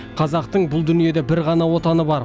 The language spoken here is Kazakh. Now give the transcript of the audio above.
қазақтың бұл дүниеде бір ғана отаны бар